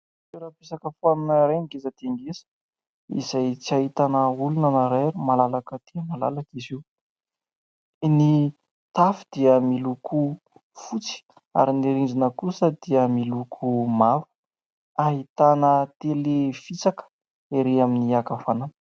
Toeram-pisakafoanana iray, ngeza dia ngeza, izay tsy ahitana olona na iray ary malalaka dia malalaka izy io. Ny tafo dia miloko fotsy ary ny rindrina kosa dia miloko maro, ahitana "télé" fisaka ery amin'ny ankavanana.